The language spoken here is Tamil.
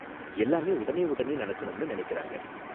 எல்லாமே உடனே உடனே நடக்கணும்னு நினைக்கறாங்க.